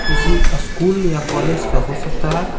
किसी स्कूल या कॉलेज का हो सकता है।